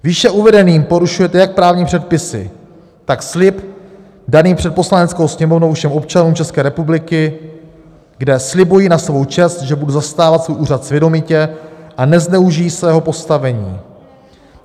Výše uvedeným porušujete jak právní předpisy, tak slib daný před Poslaneckou sněmovnou všem občanům České republiky, kde slibuji na svou čest, že budu zastávat svůj úřad svědomitě a nezneužiji svého postavení.